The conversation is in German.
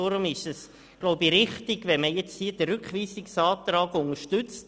Deswegen ist es wichtig, den Rückweisungsantrag zu unterstützen.